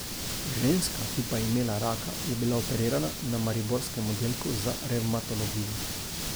Ženska, ki pa je imela raka, je bila operirana na mariborskem oddelku za revmatologijo.